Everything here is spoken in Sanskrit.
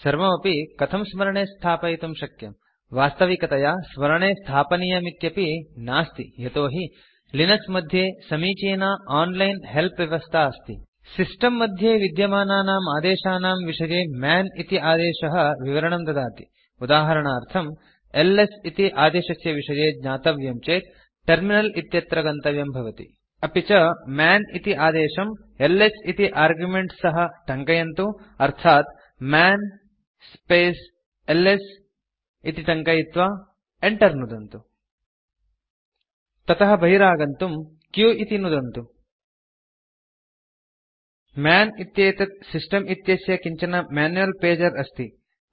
सर्वमपि कथं स्मरणे स्थापयितुं शक्यम् वास्तविकतया स्मरणे स्थापनीयमिति नास्ति यतो हि लिनक्स मध्ये समीचीना ओनलाइन् हेल्प् व्यवस्था अस्ति सिस्टम् मध्ये विद्यमानानाम् आदेशानां विषये मन् इति आदेशः विवरणं ददाति उदाहरणार्थम् एलएस इति आदेशस्य विषये ज्ञातव्यं चेत् टर्मिनल इत्यत्र गन्तव्यं भवति अपि च मन् इति आदेशं एलएस इति आर्गुमेन्ट् सह टङ्कयन्तु अर्थात् मन् स्पेस् एलएस इति टङ्कयित्वा enter नुदन्तु ततः बहिरागन्तुं q इति नुदन्तु मन् इत्येतत् सिस्टम् इत्यस्य किञ्चन मैन्युअल् पेजर अस्ति